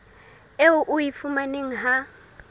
eo o e fumanang ha